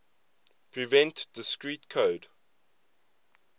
prevent discrete code